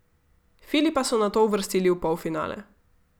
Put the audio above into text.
Filipa so nato uvrstili v polfinale.